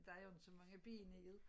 Der er jo ikke så mange ben i det